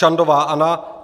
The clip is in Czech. Čandová Anna